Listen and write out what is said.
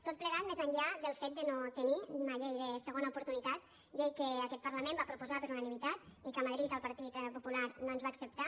tot plegat més enllà del fet de no tenir una llei de segona oportunitat llei que aquest parlament va proposar per unanimitat i que a madrid el partit popular no ens va acceptar